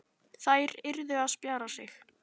Þær yrðu að spjara sig.